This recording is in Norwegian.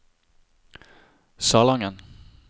Salangen